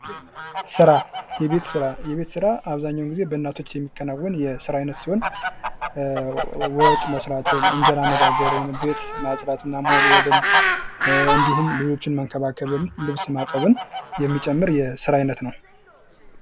ዶክተርነት : የታመሙ ሰዎችን መመርመር፣ ሕክምና መስጠት እና ጤናን ማሻሻልን የሚያካትት ሙያ።